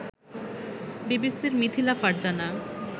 বিবিসির মিথিলা ফারজানা